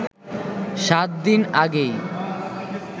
সাত দিন আগেই